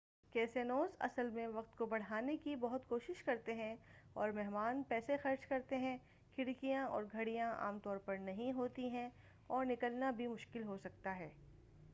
casinos اصل میں وقت کو بڑھانے کی بہت کوشش کرتے ہیں اور مہمان پیسے خرچ کرتے ہیں کھڑکیاں اور گھڑیاں عام طور پر نہیں ہوتی ہیں اور نکلنا بھی مشکل ہوسکتا ہے